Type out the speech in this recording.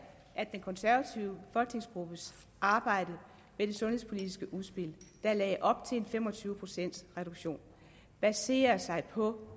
at den konservative folketingsgruppes arbejde med det sundhedspolitiske udspil der lagde op til en fem og tyve procents reduktion baserer sig på